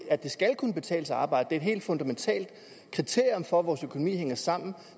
at det skal kunne betale sig at arbejde et helt fundamentalt kriterium for at vores økonomi hænger sammen